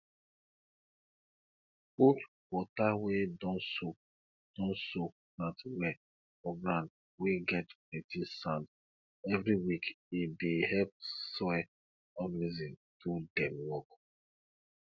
put water wey don soak don soak plant well for ground wey get plenti sand every week e dey help soil organisms do dem work